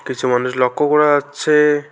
কিছু মানুষ লক্ষ করা যাচ্ছে।